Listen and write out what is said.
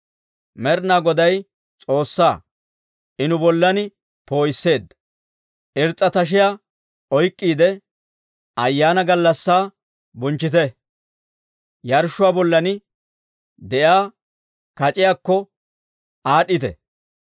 Med'inaa Goday S'oossaa; I nu bollan poo'isseedda. Irs's'a tashiyaa oyk'k'iide, ayaana gallassaa bonchchite; yarshshuwaa bollan de'iyaa kac'iyaakko aad'd'ite.